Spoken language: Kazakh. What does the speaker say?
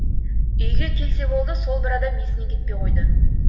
үйге келсе болды сол бір адам есінен кетпей қойды